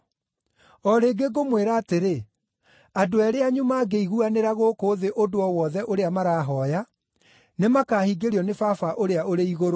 “O rĩngĩ ngũmwĩra atĩrĩ, andũ eerĩ anyu mangĩiguanĩra gũkũ thĩ ũndũ o wothe ũrĩa marahooya, nĩmakahingĩrio nĩ Baba ũrĩa ũrĩ igũrũ.